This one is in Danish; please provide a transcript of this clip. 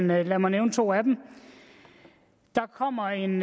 men lad mig nævne to af dem der kommer en